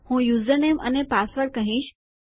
હું યુઝરનેમ અને પાસવર્ડ કહીશ